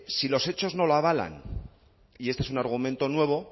si los hechos no lo avalan y este es un argumento nuevo